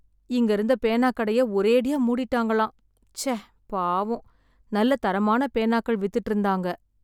இங்கே இருந்த பேனாக்கடைய ஒரேடியா மூடிட்டாங்களாம். ச்ச பாவம். நல்ல தரமான பேனாக்கள் வித்துட்டு இருந்தாங்க.